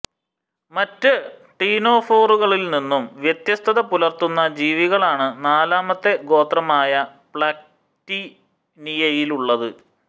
മറ്റ് ടീനോഫോറുകളിൽനിന്നും വ്യത്യസ്തത പുലർത്തുന്ന ജീവികളാണ് നാലാമത്തെ ഗോത്രമായ പ്ളാറ്റിക്ടീനിയയിലുള്ളത്